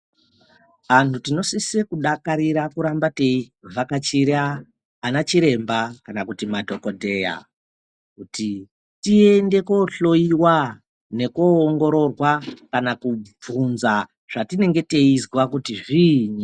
Antu tinosise kudakarira kuramba teivhakachira ana chiremba kana kuti madhokodheya. kuti tiende kohloiwa nekoongororwa kana kubvunza zvatinenge teizwa kuti zviini.